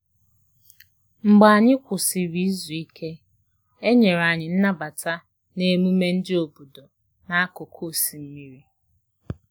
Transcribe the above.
Mgbe anyị kwusịrị izu ike, e nyere anyị nnabata n`emume ndi obodo n`akụkụ osimmiri